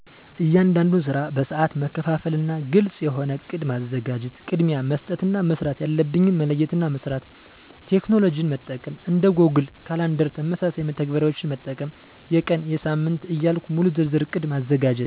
እያንዳንዱን ስራ በሰአት መከፋፈና ግልጽ የሆነ እቅድ ማዘጋጀት። ቅድሚያ መስጠት እና መስራት ያለብኝን መለየትና መስራት። ቴክኖሎጅን መጠቀም። እንደ ጎግል ካላንደር ተመሳሳይ መተግበሪያዎችን መጠቀም። የቀን፣ የሳምንት ዕያልኩ ሙሉ ዝርዝር እቅድ ማዘጋጀት።